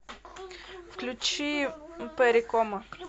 включи перри комо